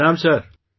Pranam sir